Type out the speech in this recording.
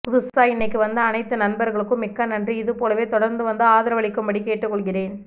புதுசா இன்னிக்கு வந்த அனைத்து நண்பர்களுக்கும் மிக்க நன்றி இதுபோலவே தொடர்ந்து வந்து ஆதரவளிக்கும்படி கேட்டு கொள்கிறேன்